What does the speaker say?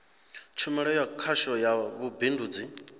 tshumelo ya khasho ya vhubindudzi